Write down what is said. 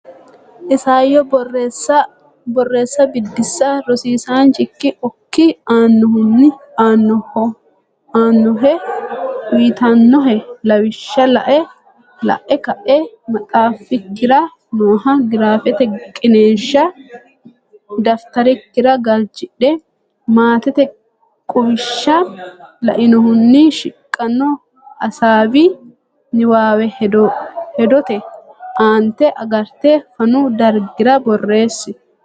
Isayyo Borreessa Biddissa Rosiisaanchikki okki aannohe uyitannohe lawishsha la’e ka’e maxaafikkira nooha giraafete qiniishsha dafitarikkira galchidhe, maatete quwishsha lainohunni shiqino hasaawi niwaawe hedote aante agarte fanu dargira borreessi.